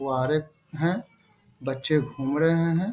कुवारें हैं बच्चे घूम रहें हैं।